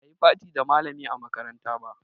Ba a yi party da malami a makaranta ba